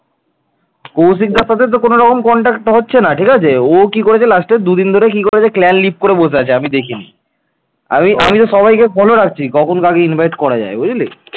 কৌশিকদার সাথে তো কোনো রকম contact হচ্ছে না ঠিক আছে? ও কি করেছে last দুদিন ধরে কি করেছে clan leave করে বসে আছে আমি দেখিনি। আমি আমি তো সবাইকে follow রাখছি কখন কাকে invite করা যায় বুঝলি